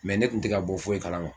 Mɛ ne kun tɛ ka bɔ foyi kalama